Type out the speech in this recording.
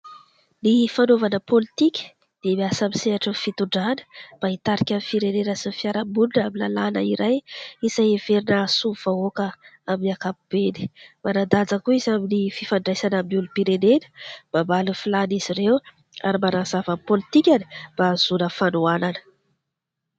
Ny fanaovana pôlitika dia miasa amin'ny misehatry ny fitondrana, mba hitarika ny firenena sy fiaraha-monina amin'ny lalàna iray, izay heverina hahasoa ny vahoaka amin'ny ankapobeny. Manan-daja koa izy amin'ny fifandraisana amin'ny olom-pirenena, mba hamaly ny filàn'izy ireo ary mba hanazava ny pôlitikany mba hahazoana fanohanana.